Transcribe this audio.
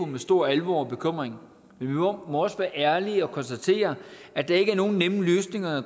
med stor alvor og bekymring men vi må også være ærlige og konstatere at der ikke er nogen nemme løsninger